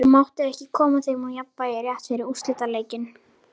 Það mátti ekki koma þeim úr jafnvægi rétt fyrir úrslitaleikinn.